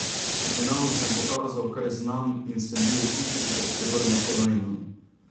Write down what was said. V finalu sem pokazal, kaj znam, in sem bil v igri za srebrno kolajno.